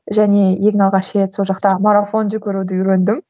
және ең алғаш рет сол жақта марафон жүгіруді үйрендім